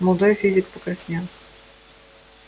молодой физик покраснел